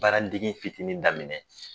Baaradege fitinin daminɛ